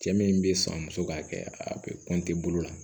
Cɛ min bɛ sɔn muso k'a kɛ a bɛ bolo la